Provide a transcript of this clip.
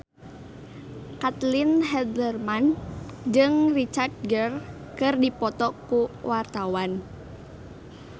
Caitlin Halderman jeung Richard Gere keur dipoto ku wartawan